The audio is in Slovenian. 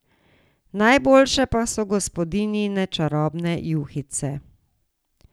Najboljše pa so gospodinjine čarobne juhice.